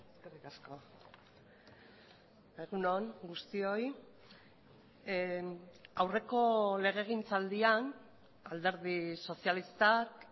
eskerrik asko egun on guztioi aurreko legegintzaldian alderdi sozialistak